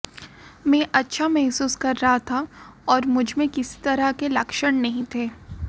मैं अच्छा महसूस कर रहा था और मुझमें किसी तरह के लक्षण नहीं थे